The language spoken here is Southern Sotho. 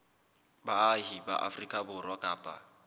baahi ba afrika borwa kapa